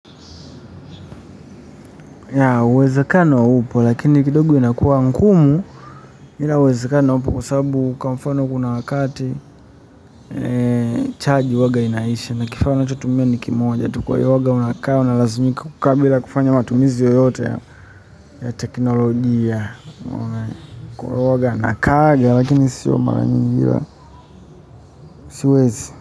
Ya uwezakano upo lakini kidogo inakuwa ngumu ila uwezakano upo kwa sababu kwa mfano kuna wakati chagi huwanga inaisha, na kifaa ninachotumia ni kimoja tu. Kwa hivo huwanga unakaa unalazimika kukaa bila kufanya matumizi yoyote ya teknolojia. Unaona e? Kwa hivo huwa nakaa lakini sio mara mingi, hila siwezi.